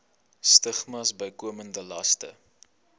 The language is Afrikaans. stigmas bykomende laste